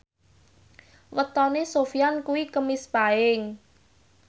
wetone Sofyan kuwi Kemis Paing